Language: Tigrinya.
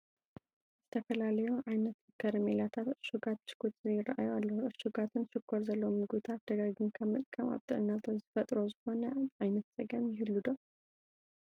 ዝተፈላለዩ ዓይነት ከረሜላታትን ዕሹጋት ብሽኩትን ይርአዩ ኣለዉ፡፡ ዕሹጋትን ሽኮር ዘለዎም ምግብታት ደጋጊምካ ምጥቃም ኣብ ጥዕና ዝፈጥሮ ዝኾነ ዓይነት ፀገም ይህሉ ዶ?